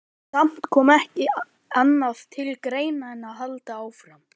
Samt kom ekki annað til greina en að halda áfram.